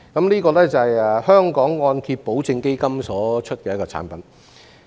這個是按揭保證基金所推出的產品。